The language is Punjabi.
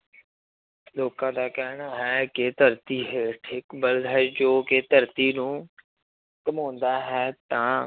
ਲੋਕਾਂ ਦਾ ਕਹਿਣਾ ਹੈ ਕਿ ਧਰਤੀ ਹੇਠ ਇੱਕ ਬਲਦ ਹੈ ਜੋ ਕਿ ਧਰਤੀ ਨੂੰ ਘੁੰਮਾਉਂਦਾ ਹੈ ਤਾਂ